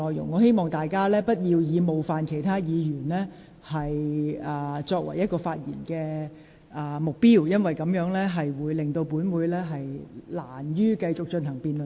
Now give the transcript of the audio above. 我希望議員不要以冒犯其他議員作為發言的目標，否則本會難以繼續進行辯論。